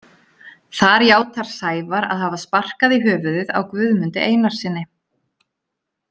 Þar játar Sævar að hafa sparkað í höfuðið á Guðmundi Einarssyni.